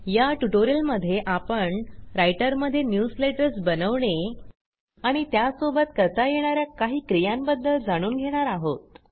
या ट्युटोरियलमध्ये आपण रायटरमध्ये न्यूजलेटर्स बनवणे आणि त्यासोबत करता येणा या काही क्रियांबद्दल जाणून घेणार आहोत